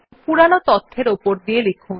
পুরোনো তথ্যের উপর লিখুন